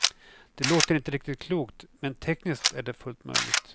Det låter inte riktigt klokt, men tekniskt är det fullt möjligt.